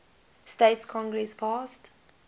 states congress passed